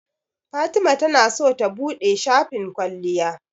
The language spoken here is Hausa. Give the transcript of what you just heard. Fatima tana so ta buɗe shafin kwalliya.